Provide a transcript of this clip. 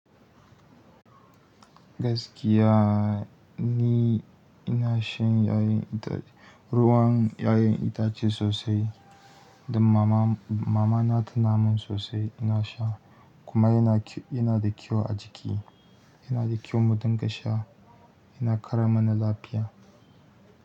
Gaskiya ni ina shan ruwan 'ya'yan itace sosai, da mama na tana mun sosai ina sha kuma yana da kyau a jiki, yana da kyau mu dinga sha, yana ƙara mana lafiya.